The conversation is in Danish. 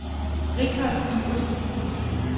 Richard Iversen